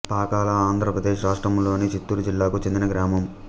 పాకాల ఆంధ్ర ప్రదేశ్ రాష్ట్రములోని చిత్తూరు జిల్లాకు చెందిన గ్రామం